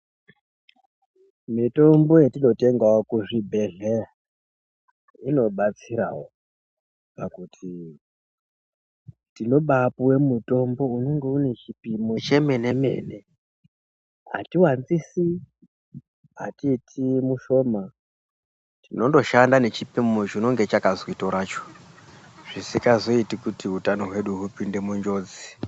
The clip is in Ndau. Mitombo yetinotengawo kuzvibhehlera inobatsirawo pakuti tinobapuwe mutombo unenge une chipimo chemene-mene. Hatiwanzisi, haiiti mushoma tinondoshanda nechipimo chinonge chakazwi toracho, zvisikazoiti kuti utano hwedu hupinde munjodzi.